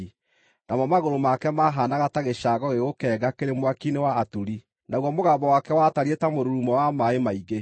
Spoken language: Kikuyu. Namo magũrũ make maahaanaga ta gĩcango gĩgũkenga kĩrĩ mwaki-inĩ wa aturi, naguo mũgambo wake watariĩ ta mũrurumo wa maaĩ maingĩ.